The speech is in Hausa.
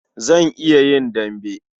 Zan iya yin dambe.